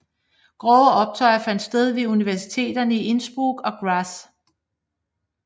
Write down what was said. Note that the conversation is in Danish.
Grove optøjer fandt sted ved universiteterne i Innsbruck og Graz